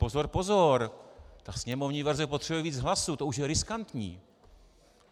Pozor, pozor, ta sněmovní verze potřebuje víc hlasů, to už je riskantní.